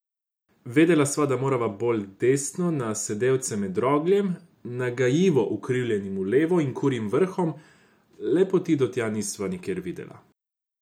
Vedela sva, da morava bolj desno na sedelce med rogljem, nagajivo ukrivljenim v levo, in Kurjim vrhom, le poti do tja nisva nikjer videla.